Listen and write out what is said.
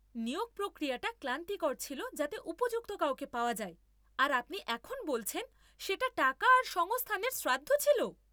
নিয়োগ প্রক্রিয়াটা ক্লান্তিকর ছিল যাতে উপযুক্ত কাউকে পাওয়া যায় আর আপনি এখন বলছেন সেটা টাকা আর সংস্থানের শ্রাদ্ধ ছিল!